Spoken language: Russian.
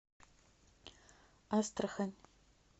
астрахань